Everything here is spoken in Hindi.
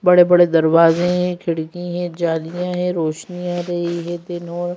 बड़े-बड़े दरवाजे हैं खिड़कि है जालियां हैं रोशनी आ रही है और --